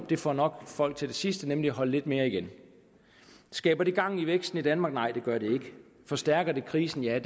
det får nok folk til det sidste nemlig at holde lidt mere igen skaber det gang i væksten i danmark nej det gør det ikke forstærker det krisen ja